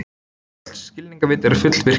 Öll skilningarvit eru fullvirkjuð.